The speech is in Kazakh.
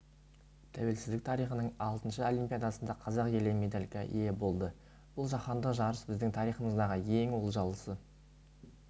тәуелсіздік тарихының алтыншы олимпиадасында қазақ елі медальге ие болды бұл жаһандық жарыс біздің тарихымыздағы ең олжалысы